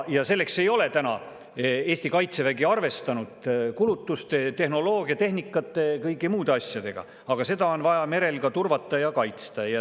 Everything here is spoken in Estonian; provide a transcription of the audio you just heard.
Selleks ei ole täna Eesti kaitsevägi arvestanud kulutuste, tehnoloogia, tehnika ega kõigi muude asjadega, aga seda on vaja merel turvata ja kaitsta.